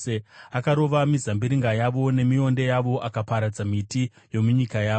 akarova mizambiringa yavo nemionde yavo, akaparadza miti yomunyika yavo.